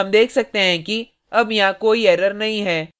हम देख सकते हैं कि अब यहाँ कोई error नहीं है